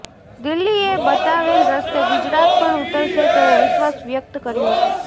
દિલ્હી એ બતાવેલ રસ્તે ગુજરાત પણ ઉતરશે તેવો વિશ્ર્વાસ વ્યક્ત કર્યો હતો